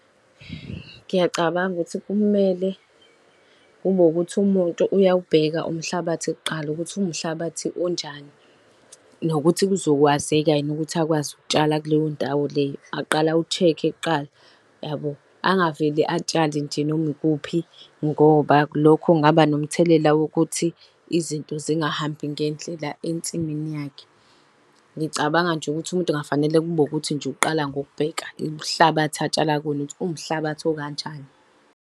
Ngiyacabanga ukuthi kumele kube ukuthi umuntu uyawubheka umhlabathi kuqala ukuthi uwumhlabathi onjani. Nokuthi kuzokwazeka yini ukuthi akwazi ukutshala kuleyo ndawo leyo, aqale awushekhe kuqala, yabo. Angavele atshale nje noma ikuphi, ngoba lokho kungaba nomthelela wokuthi izinto zingahambi ngendlela ensimini yakhe. Ngicabanga nje ukuthi umuntu kufanele kube ukuthi nje uqala ngokubheka umhlabathi atshala kuwona ukuthi uwumhlabathi okanjani.